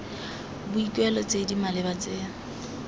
boikuelo tse di maleba tse